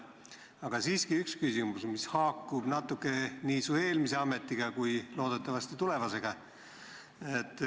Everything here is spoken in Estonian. Aga siiski üks küsimus, mis haakub natuke nii su eelmise ametiga kui loodetavasti ka tulevasega.